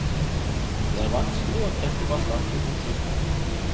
Det er vanskelig å trekke bastante konklusjoner.